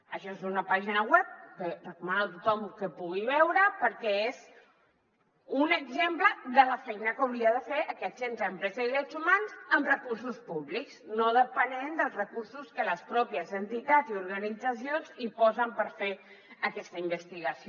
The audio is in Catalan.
això és una pàgina web que recomano tothom que la pugui veure perquè és un exemple de la feina que hauria de fer aquest centre d’empresa i drets humans amb recursos públics no depenent dels recursos que les pròpies entitats i organitzacions hi posen per fer aquesta investigació